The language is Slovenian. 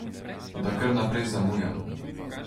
Da kar naprej zamujam?